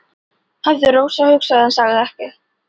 hafði Rósa hugsað en sagði ekkert.